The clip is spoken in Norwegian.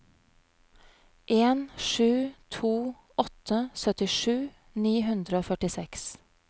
en sju to åtte syttisju ni hundre og førtiseks